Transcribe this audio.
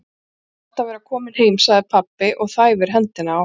Það er gott að vera kominn heim, segir pabbi og þæfir hendina á